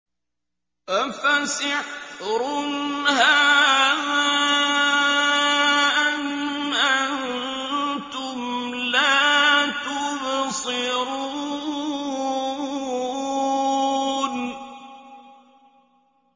أَفَسِحْرٌ هَٰذَا أَمْ أَنتُمْ لَا تُبْصِرُونَ